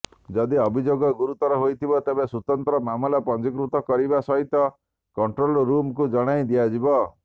ଯଦି ଅଭିଯୋଗ ଗୁରୁତର ହୋଇଥିବ ତେବେ ତୁରନ୍ତ ମାମଲା ପଞ୍ଜିକୃତ କରିବା ସହିତ କଂଟୋ୍ରଲରୁମକୁ ଜଣାଇ ଦିଆଯିବ